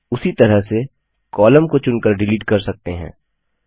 उसी तरह से कॉलम को चुनकर डिलीट कर सकते हैं